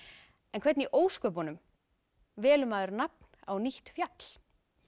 en hvernig í ósköpunum velur maður nafn á nýtt fjall